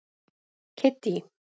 Kiddý